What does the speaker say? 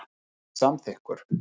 var því samþykkur.